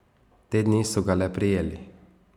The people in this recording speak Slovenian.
Te dni so ga le prijeli.